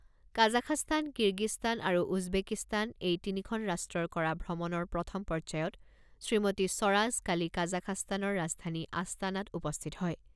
Kazakhstan, Kyrgyzstan আৰু Uzbekistan এই তিনিখন ৰাষ্ট্ৰত কৰা ভ্ৰমণৰ প্ৰথম পৰ্যায়ত শ্ৰীমতী স্বৰাজ কালি কাজাখাস্তানৰ ৰাজধানী আস্তানাত উপস্থিত হয়।